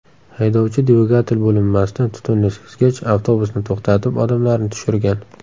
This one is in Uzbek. Haydovchi dvigatel bo‘linmasida tutunni sezgach, avtobusni to‘xtatib, odamlarni tushirgan.